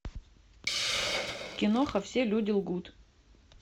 киноха все люди лгут